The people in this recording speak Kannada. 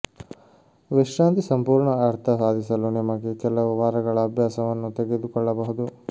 ವಿಶ್ರಾಂತಿ ಸಂಪೂರ್ಣ ಅರ್ಥ ಸಾಧಿಸಲು ನಿಮಗೆ ಕೆಲವು ವಾರಗಳ ಅಭ್ಯಾಸವನ್ನು ತೆಗೆದುಕೊಳ್ಳಬಹುದು